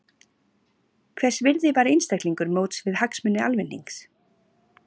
Hvers virði var einstaklingur móts við hagsmuni almennings?